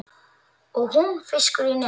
Og hún fiskur í neti.